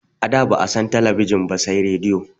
A da ba'a san talabijin ba sai radiyo